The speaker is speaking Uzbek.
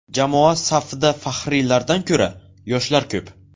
Jamoa safida faxriylardan ko‘ra, yoshlar ko‘p.